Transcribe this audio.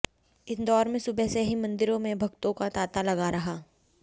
इंदौर में सुबह से ही मंदिरों में भक्तों का तांता लगा रहा